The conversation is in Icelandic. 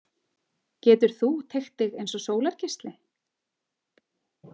Getur þú teygt þig eins og sólargeisli?